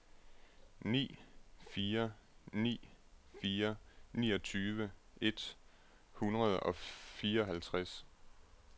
ni fire ni fire niogtyve et hundrede og fireoghalvtreds